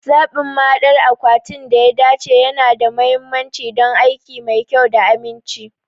Zaɓin mahaɗdar akwatin da ya dace yana da mahimmanci don aiki mai kyau da aminci.